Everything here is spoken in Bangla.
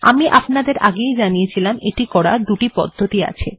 আমি আপনাদের আগেই জানিয়েছিলাম এটি করার দুটি পদ্ধতি আছে